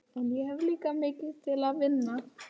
Það er ýmislegt í mínu fari ógeðfellt og ljótt.